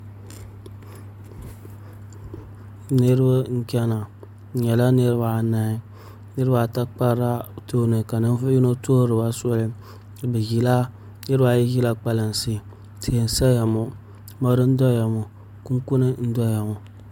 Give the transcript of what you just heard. Niraba n chɛna bi nyɛla niraba anahi niraba ata kparila tooni ka ninvuɣu yino tuɣuriba soli niraba ayi ʒila kpalansi tihi n saya ŋo kunkuni n doya ŋo mori n saya ŋo